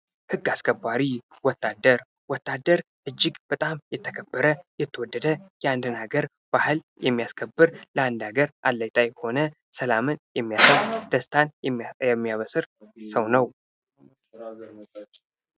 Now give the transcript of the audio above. ሕግ አስከባሪ ወታደር: ወታደር እጅግ በጣም የተከበረ የተወደደ የአንድን ሀገር ባህል የሚያስከብር ለአንድ ሀገር አለኝታ የሆነ ሰላምን የሚያሰፍን ደስታን የሚያበስር ሰው ነው::